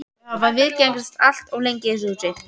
Þau hafa viðgengist allt of lengi í þessu húsi.